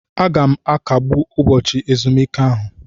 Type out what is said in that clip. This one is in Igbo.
Aga m akagbu ụbọchị ezumike ahụ.